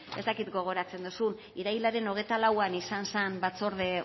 ez dakit gogoratzen duzun irailaren hogeita lauan izan zen batzorde